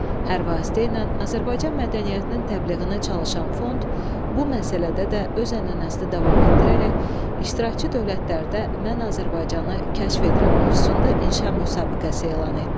Hər vasitə ilə Azərbaycan mədəniyyətinin təbliğinə çalışan fond bu məsələdə də öz ənənəsini davam etdirərək iştirakçı dövlətlərdə mən Azərbaycanı kəşf edirəm mövzusunda inşa müsabiqəsi elan etdi.